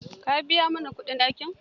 Ka biya mana kudin ɗakin.